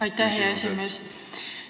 Aitäh, hea esimees!